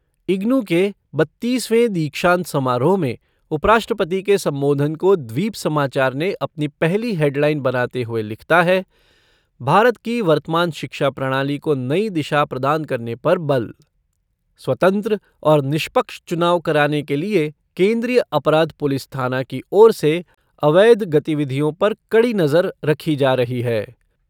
इग्नू के बत्तीसवें दीक्षांत समारोह में उपराष्ट्रपति के संबोधन को द्वीप समाचार ने अपनी पहली हेडलाइन बनाते हुए लिखता है भारत की वर्तमान शिक्षा प्रणाली को नई दिशा प्रदान करने पर बल। स्वतंत्र और निष्पक्ष चुनाव कराने के लिए केन्द्रीय अपराध पुलिस थाना की ओर से अवैध गतिविधियों पर कड़ी नजर रखी जा रही है।